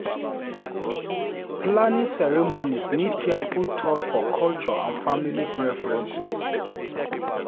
Planning ceremonies need careful thought for culture and family preference.